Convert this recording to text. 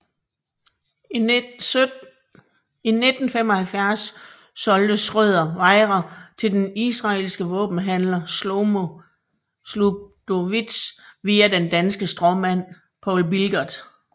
I 1975 solgte Schrøder Wejra til den israelske våbenhandler Shlomo Zabludowicz via den danske stråmand Poul Bilgart